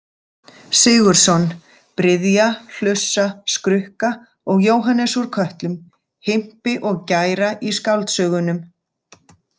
Sigurðsson:-bryðja,-hlussa,-skrukka og Jóhannes úr Kötlum:-himpi og-gæra í skáldsögunum.